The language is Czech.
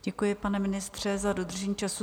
Děkuji, pane ministře, za dodržení času.